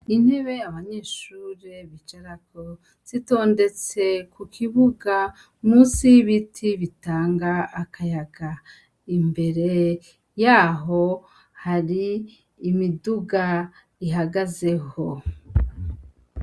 Intebe abanyeshure bicarako, zitondetse ku kibuga munsi y'ibiti bitanga akayaga. Imbere y'aho hari imiduga ihagazeho.